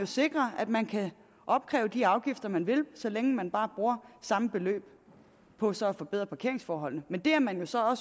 sikrer at man kan opkræve de afgifter man vil så længe man bare bruger samme beløb på så at forbedre parkeringsforholdene men det er man jo så